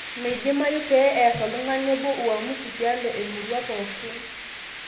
Meidimayu peyie ees oltung'ani obo uamusi tialo emurua pooki